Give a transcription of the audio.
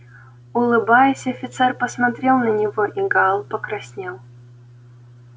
улыбаясь офицер посмотрел на него и гаал покраснел